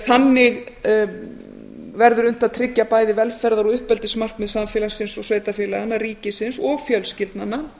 þannig verður unnt að tryggja bæði velferðar og uppeldismarkmið samfélagsins og sveitarfélaganna ríkisins og fjölskyldnanna